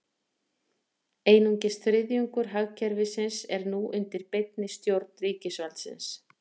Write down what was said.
Einungis þriðjungur hagkerfisins er nú undir beinni stjórn ríkisvaldsins.